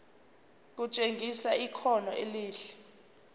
kutshengisa ikhono elihle